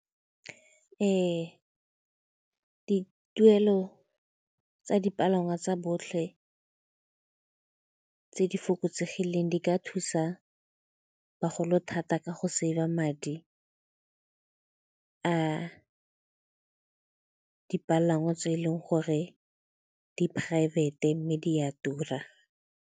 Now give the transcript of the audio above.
Ee, dituelo tsa dipalangwa tsa botlhe tse di fokotsegileng di ka thusa bagolo thata ka go save-a madi a dipalangwa tse e leng gore di poraefete mme di a tura.